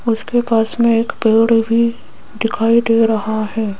उसके पास में एक पेड़ भी दिखाई दे रहा है।